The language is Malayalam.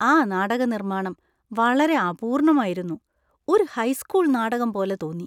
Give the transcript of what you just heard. ആ നാടക നിർമ്മാണം വളരെ അപൂർണമായിരുന്നു. ഒരു ഹൈസ്കൂൾ നാടകം പോലെ തോന്നി.